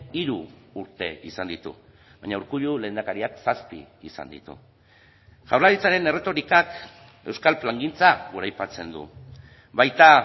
hiru urte izan ditu baina urkullu lehendakariak zazpi izan ditu jaurlaritzaren erretorikak euskal plangintza goraipatzen du baita